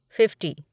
fifty